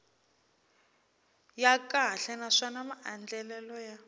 ya kahle naswona maandlalelo ya